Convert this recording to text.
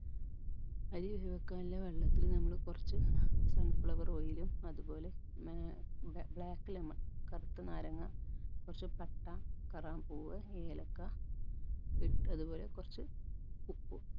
അരി വേവിക്കാനുള്ള വെള്ളത്തില് നമ്മള് കുറച്ച് sunflower oil ഉം അത്പോലെ മേ black lemon കറുത്ത നാരങ്ങ കുറച്ച് പട്ട കറാമ്പൂവ് ഏലക്ക ഇട്ട് അത്പോലെ കുറച്ച് ഉപ്പും